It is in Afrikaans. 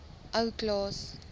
ou klaas